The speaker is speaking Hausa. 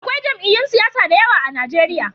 Akwai jam'iyyun siyasa da yawa a Najeriya.